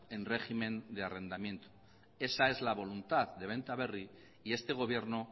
en régimen de arrendamiento esa es la voluntad de benta berri y este gobierno